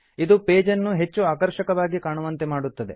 ಇದು ಪೇಜ್ ನ್ನು ಹೆಚ್ಚು ಆಕರ್ಷಕವಾಗಿ ಕಾಣುವಂತೆ ಮಾಡುತ್ತದೆ